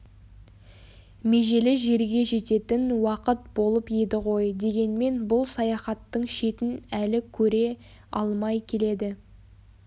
межелі жерге жететін уақыт болып еді ғой дегенмен бұл саяхаттың шетін әлі көре алмай келеді